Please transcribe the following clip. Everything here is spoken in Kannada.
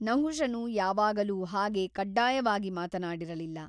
ನಹುಷನು ಯಾವಾಗಲೂ ಹಾಗೆ ಕಡ್ಡಾಯವಾಗಿ ಮಾತನಾಡಿರಲ್ಲಿಲ್ಲ.